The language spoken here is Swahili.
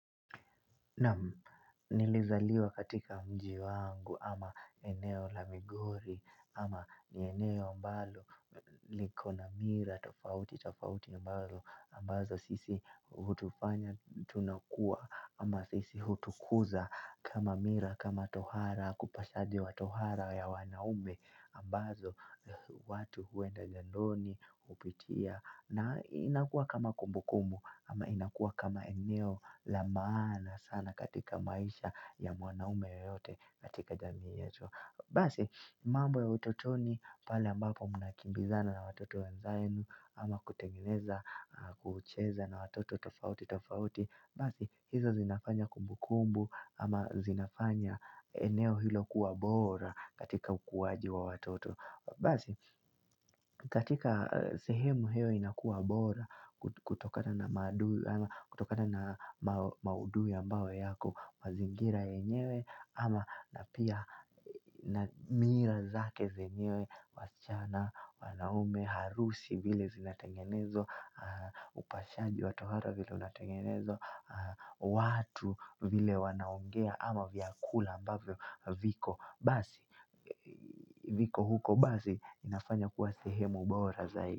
Nam nilizaliwa katika mji wangu ama eneo la migori ama ni eneo ambalo likona mira tofauti tofauti ambalo ambazo sisi hutufanya tunakua ama sisi hutukuza kama mira kama tohara kupashaji wa tohara ya wanaume ambazo watu huenda jandoni upitia na inakua kama kumbu kumbu ama inakua kama eneo lamaana sana katika maisha ya mwanaume yoyote katika jamii yetu Basi, mambo ya utotoni pale ambapo muna kimbizana na watoto wenzainu ama kutengeneza, kucheza na watoto tofauti tofauti Basi, hizo zinafanya kumbu kumbu ama zinafanya eneo hilo kuwa bora katika ukuaji wa watoto Basi, katika sehemu hiyo inakua bora kuto kutokana na kutokana na mao maudhui ambao yako mazingira yenyewe ama napia mira zake zenyewe waschana wanaume harusi vile zinatengenezwa upashaji watohara vile unatengenezwa watu vile wanaongea ama vyakula ambavyo viko basi viko huko basi inafanya kuwa sehemu bora zaidi.